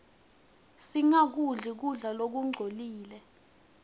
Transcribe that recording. singakudli kudla lokungcolile